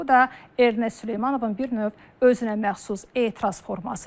Bu da Ernest Süleymanovun bir növ özünəməxsus etiraz formasıdır.